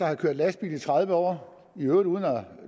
har kørt lastbil i tredive år i øvrigt uden